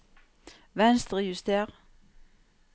Venstrejuster